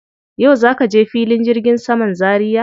Yau za ka je filin jirgin saman Zaria?